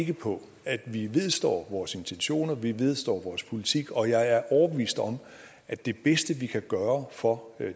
ikke på at vi vedstår vores intentioner vi vedstår vores politik og jeg er overbevist om at det bedste vi kan gøre for